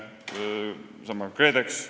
Võtame sellesama KredExi.